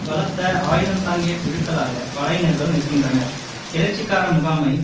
பலத்த ஆயுதந் தாங்கிய குழுக்களாக படையினர்கள் நிற்கின்றனர் கிளர்ச்சிக்கார முகாமை